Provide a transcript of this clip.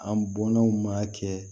An bɔnnaw ma kɛ